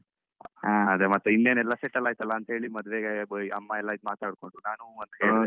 ಅದೇ ಮತ್ತೆ ಇನ್ನೇನೆಲ್ಲಾ settle ಆಯ್ತಲ್ಲ ಅಂತೇಳಿ ಮದ್ವೆಗೆ ಅಮ್ಮ ಎಲ್ಲ ಈದ್ ಮಾತಾಡ್ಕೊಂಡು ನಾನು ಹುಂ ಅಂತ ಹೇಳ್ದೆ.